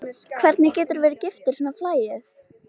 Hvernig geturðu verið giftur svona flagði?